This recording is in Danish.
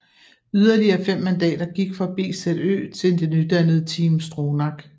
Yderligere 5 mandater gik fra BZÖ til det nydannede Team Stronach